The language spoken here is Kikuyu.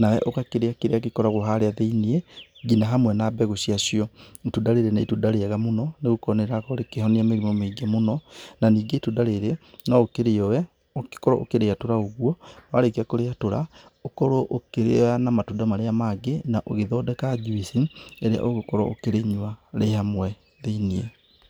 nawe ũgakĩrĩa kĩrĩa gĩkoragwo harĩa thĩiniĩ ngina hamwe na mbegũ ciacio. Ĩtunda rĩrĩ nĩ ĩtunda rĩega mũno nĩgũkorwo nĩrĩrakorwo rĩkĩhonia mĩrimũ mĩingĩ mũno na ningĩ ĩtunda rĩrĩ no ũkĩrĩoe ũgĩkorwo ũkĩrĩetũra ũguo, warĩkia kũrĩatũra ũkũrwo ũkĩrĩa na matunda marĩa mangĩ na ũgĩthondeka juici ĩria ũgũkorwo ũkĩrĩnyua rĩ hamwe thĩiniĩ.